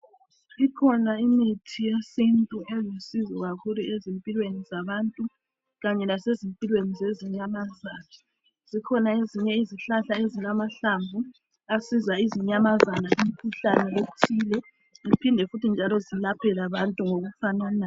Ikhona imithi yesintu elusizo kakhulu ezimpilweni zabantu Kanye lasezimpilweni zezinyamazana zikhona ezinye izihlahla esilamahlamvu asiza izinyamazana kumkhuhlane ethile ziphinde njalo zilaphe labantu ngokufananayo.